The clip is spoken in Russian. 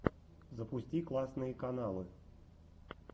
запусти классные каналы